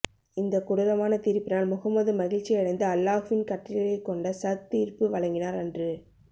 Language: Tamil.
இந்த கொடூரமான தீர்ப்பினால் முஹம்மது மகிழ்ச்சியடைந்து அல்லாஹ்வின் கட்டளையைகொண்டே சஅத் தீர்ப்பு வழங்கினார் என்று